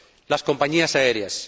Las compañías aéreas.